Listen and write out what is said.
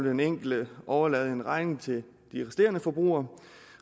den enkelte overlade en regning til de resterende forbrugere